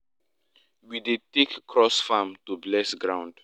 we dey take cross farm to bless ground.